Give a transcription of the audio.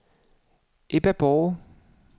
Ebba Borg